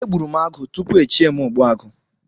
E gburu m agụ tupu echie m ogbuagu